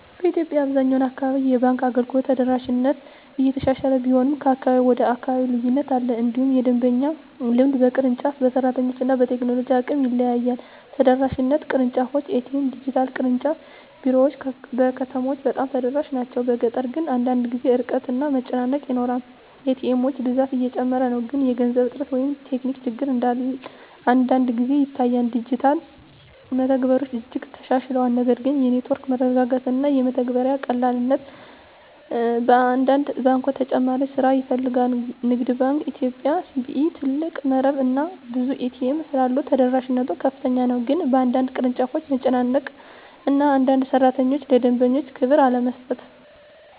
በኢትዮጵያ አብዛኛው አካባቢ የባንክ አገልግሎት ተደራሽነት እየተሻሻለ ቢሆንም ከአካባቢ ወደ አካባቢ ልዩነት አለ። እንዲሁም የደንበኛ ልምድ በቅርንጫፍ፣ በሰራተኞች እና በቴክኖሎጂ አቅም ይለያያል። ተደራሽነት (ቅርንጫፎች፣ ኤ.ቲ.ኤም፣ ዲጂታል) ቅርንጫፍ ቢሮዎች በከተሞች በጣም ተደራሽ ናቸው፤ በገጠር ግን አንዳንድ ጊዜ ርቀት እና መጨናነቅ ይኖራል። ኤ.ቲ. ኤሞች ብዛት እየጨመረ ነው፣ ግን የገንዘብ እጥረት ወይም ቴክኒክ ችግር አንዳንድ ጊዜ ይታያል። ዲጂታል መተግበሪያዎች እጅግ ተሻሽለዋል፣ ነገር ግን የኔትወርክ መረጋጋት እና የመተግበሪያ ቀላልነት በአንዳንድ ባንኮች ተጨማሪ ስራ ይፈልጋል። ንግድ ባንክ ኢትዮጵያ (CBE) ትልቅ መረብ እና ብዙ ኤ.ቲ. ኤሞች ስላሉት ተደራሽነት ከፍተኛ ነው፤ ግን በአንዳንድ ቅርንጫፎች መጨናነቅ እና አንዳንድ ሠራተኞች ለደንበኛ ክብር አለመስጠት